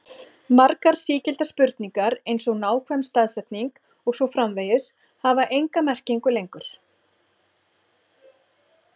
Margar sígildar spurningar eins og nákvæm staðsetning og svo framvegis hafa enga merkingu lengur.